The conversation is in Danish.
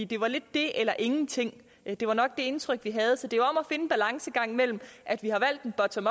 det var lidt det eller ingenting det var nok det indtryk vi havde så det er om at en balancegang mellem at vi har valgt en bottom